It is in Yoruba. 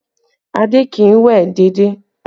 Adé kì í wẹ̀ déédéé